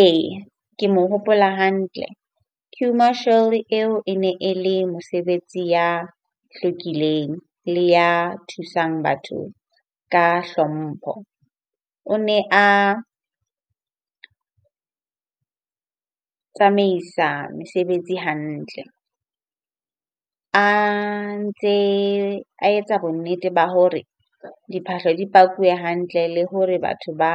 Eya, ke mo hopola hantle. Queue marshal eo e ne e le mosebetsi ya hlwekileng, le ya thusang batho ka hlompho. O ne a tsamaisa mesebetsi hantle. A ntse, a etsa bonnete ba hore diphahlo di pakilwe hantle le hore batho ba